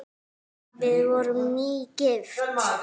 Við vorum nýgift!